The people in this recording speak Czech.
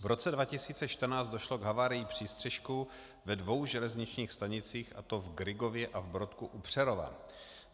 V roce 2014 došlo k havárii přístřešku ve dvou železničních stanicích, a to v Grygově a v Brodku u Přerova.